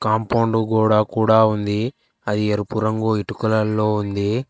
Compound గోడ కూడా ఉంది అది ఎరుపు రంగు ఇటుకలల్లో ఉంది.